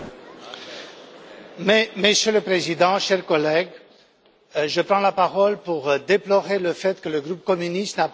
Monsieur le Président, chers collègues, je prends la parole pour déplorer le fait que le groupe communiste n'a pas participé à la cérémonie.